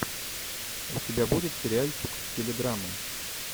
у тебя будет сериальчик в стиле драмы